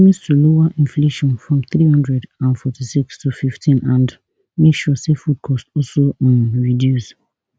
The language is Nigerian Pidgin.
e promise to lower inflation from three hundred and forty-six to fifteen and make sure say food cost also um reduce